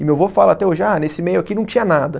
E meu vô fala até hoje, ah, nesse meio aqui não tinha nada.